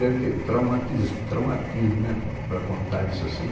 Deve ter traumatis traumatismo né para contar isso assim.